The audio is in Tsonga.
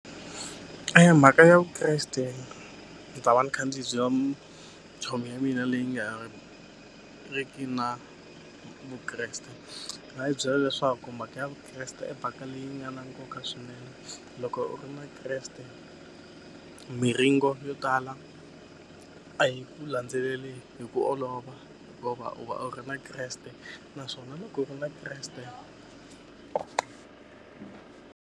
Eya mhaka ya Vukreste ni ta va ni kha ndzi chomi ya mina leyi nga ri ki na Vukreste ni nga yi byela leswaku mhaka ya Vukreste i mhaka leyi nga na nkoka swinene loko u ri na Kreste miringo yo tala a yi ku landzeleli hi ku olova u va u ri na Kreste naswona loko u na Kreste.